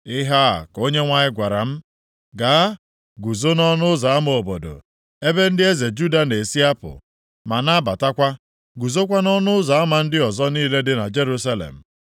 Ihe a ka Onyenwe anyị gwara m, “Gaa, guzo nʼọnụ ụzọ ama obodo, ebe ndị eze Juda na-esi apụ, ma na-abatakwa. Guzokwa nʼọnụ ụzọ ama ndị ọzọ niile dị na Jerusalem.